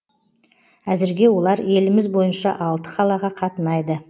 әзірге олар еліміз бойынша алты қалаға қатынайды